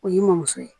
O y'i mɔmuso ye